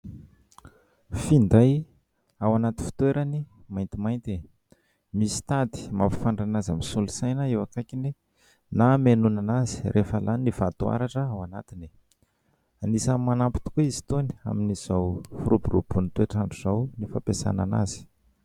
Finday ao anaty fitoerany maintimainty, misy tady mampifandray azy amin'ny solosaina eo akaikiny na hamenoana azy rehefa lany ny vato haratra ao anatiny, anisany manampy tokoa izy itony amin'izao firoborobohan'ny toetr'andro izao ny fampiasana azy.